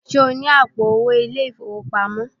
Ṣé o ní àpò owó ilé-ìfowópamọ́?